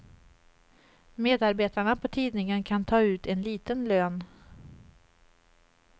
Medarbetarna på tidningen kan ta ut en liten lön.